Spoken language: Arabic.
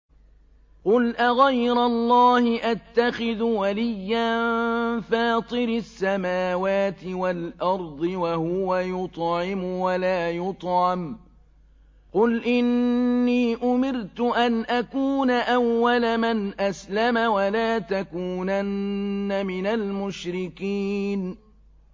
قُلْ أَغَيْرَ اللَّهِ أَتَّخِذُ وَلِيًّا فَاطِرِ السَّمَاوَاتِ وَالْأَرْضِ وَهُوَ يُطْعِمُ وَلَا يُطْعَمُ ۗ قُلْ إِنِّي أُمِرْتُ أَنْ أَكُونَ أَوَّلَ مَنْ أَسْلَمَ ۖ وَلَا تَكُونَنَّ مِنَ الْمُشْرِكِينَ